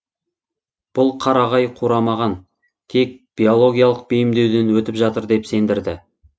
бұл қарағай қурамаған тек биологиялық бейімдеуден өтіп жатыр деп сендірді